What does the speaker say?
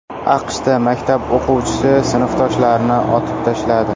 AQShda maktab o‘quvchisi sinfdoshlarini otib tashladi.